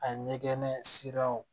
A ɲɛgɛn siraw